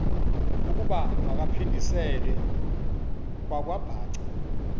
ukuba makaphindiselwe kwakwabhaca